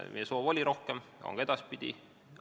Meie soov oli tõsta rohkem, see soov on ka edaspidi.